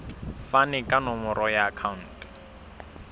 fane ka nomoro ya akhauntu